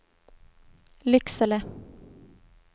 Lycksele